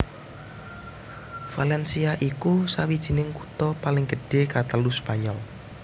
Valencia iku sawijining kutha paling gedhé katelu Spanyol